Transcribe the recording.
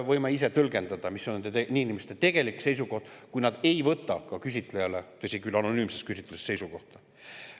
Võime ise tõlgendada, mis on nende inimeste tegelik seisukoht, kui nad ei võta, tõsi küll, anonüümses küsitluses, seisukohta.